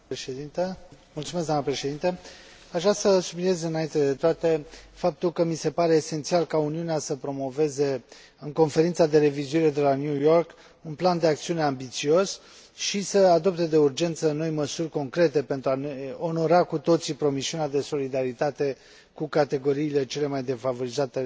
Aș vrea să subliniez, înainte de toate, faptul că mi se pare esențial ca Uniunea să promoveze, în Conferința de revizuire de la New York, un plan de acțiune ambițios și să adopte de urgență noi măsuri concrete pentru a ne onora cu toții promisiunea de solidaritate cu categoriile cele mai defavorizate ale planetei.